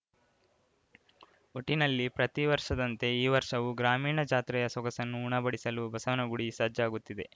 ಒಟ್ಟಿನಲ್ಲಿ ಪ್ರತಿ ವರ್ಷದಂತೆ ಈ ವರ್ಷವೂ ಗ್ರಾಮೀಣ ಜಾತ್ರೆಯ ಸೊಗಸನ್ನು ಉಣಬಡಿಸಲು ಬಸವನಗುಡಿ ಸಜ್ಜಾಗುತ್ತಿದೆ